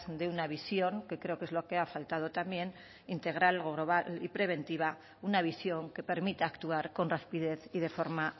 de una visión que creo que es lo que ha faltado también integral o global y preventiva una visión que permita actuar con rapidez y de forma